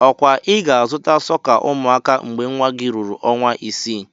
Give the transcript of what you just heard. Okwa ị ga-azụta sọka umuaka mgbe nwa gị ruru ọnwa isii?